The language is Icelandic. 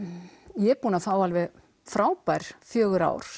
ég er búin að fá alveg frábær fjögur ár